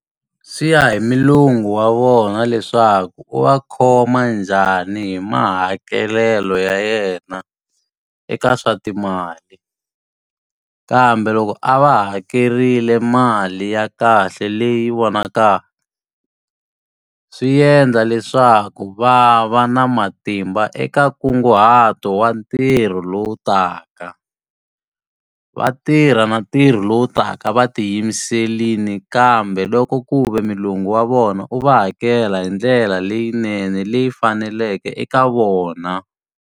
Swi ya hi mulungu wa vona leswaku u va khoma njhani hi mahakelelo ya yena eka swa timali. Kambe loko a va hakerile mali ya kahle leyi vonakaka, swi endla leswaku va va na matimba eka nkunguhato wa ntirho lowu taka. Va tirha na ntirho lowu taka va tiyimiserile kambe loko ku ve mulungu wa vona u va hakela hi ndlela leyinene leyi faneleke eka vona.